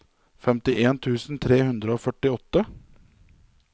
femtien tusen tre hundre og førtiåtte